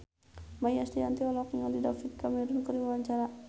Maia Estianty olohok ningali David Cameron keur diwawancara